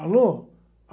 Alô?